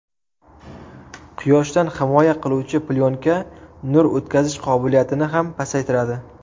Quyoshdan himoya qiluvchi plyonka nur o‘tkazish qobiliyatini ham pasaytiradi.